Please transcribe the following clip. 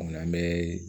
An bɛ